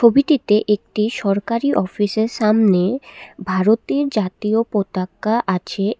ছবিটিতে একটি সরকারি অফিসের সামনে ভারতের জাতীয় পতাকা আছে।